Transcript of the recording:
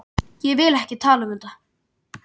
Ég vil ekki tala um þetta.